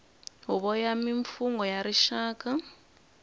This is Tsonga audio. huvo ya mimfungho ya rixaka